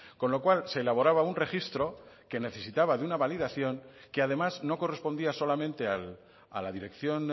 con lo cual se elaboraba un registro que necesitaba de una validación que además no correspondía solamente a la dirección